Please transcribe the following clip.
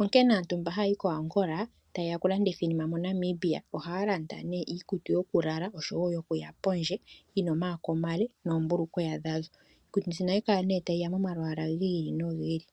onkene aantu mba haayi koAngola taye ya okulanditha iinima moNamibia ohaya landa nee iikutu yokulala oshowo yokuya pondje yi na omayako omale noombulukweya dhadho. Iikutu mbino ohayi kala nee ta yi ya momalwaala gi ili nogi ili.